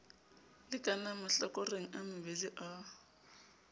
lekanang mahlakoreng a mabedi a